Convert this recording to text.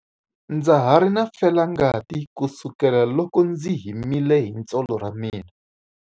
Ndza ha ri na felangati kusukela loko ndzi himile hi tsolo ra mina.